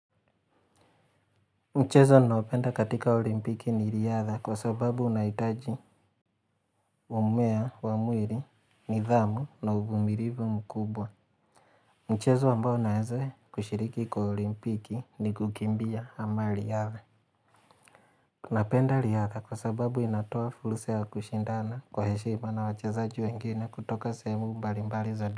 Mchezo naopenda katika olimpiki ni riadha kwa sababu unaitaji umea wa muili, nidhamu na uvumilivu mkubwa. Mchezo ambao naeze kushiriki kwa olimpiki ni kukimbia ama riadha. Napenda riadha kwa sababu inatoa fursa ya kushindana kwa heshima na wachazaji wengine kutoka semu mbali mbali za du.